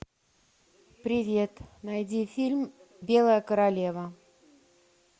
привет найди фильм белая королева